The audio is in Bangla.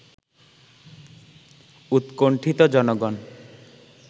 উৎকন্ঠিত জনগণ